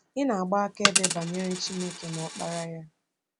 Ị na-agba akaebe banyere Chineke na Ọkpara ya.